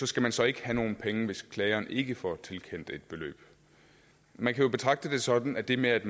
skal man så ikke have nogen penge hvis klageren ikke får tilkendt et beløb man kan jo betragte det sådan at det med at